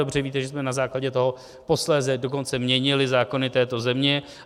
Dobře víte, že jsme na základě toho posléze dokonce měnili zákony této země.